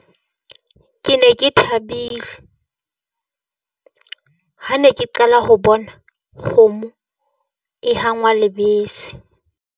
Ke ne ke thabile ha ne ke qala ho bona kgomo e hangwa lebese.